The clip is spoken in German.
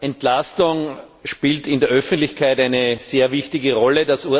Entlastung spielt in der Öffentlichkeit eine sehr wichtige Rolle.